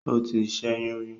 O tì ṣẹyun rí